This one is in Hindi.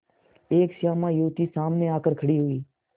एक श्यामा युवती सामने आकर खड़ी हुई